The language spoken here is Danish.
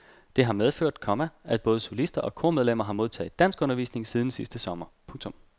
Det har medført, komma at både solister og kormedlemmer har modtaget danskundervisning siden sidste sommer. punktum